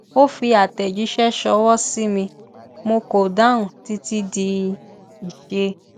ó fi àtẹjíṣẹ ṣọwọ sí mi mo kò dáhùn títí di iṣẹ